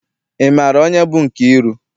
Ị maara onye bụ Nkeiru?